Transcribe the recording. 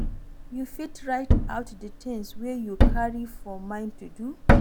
You fit write out di things wey you carry for mind to do